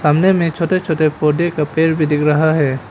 सामने में छोटे छोटे पौधे का पेड़ भी दिख रहा है।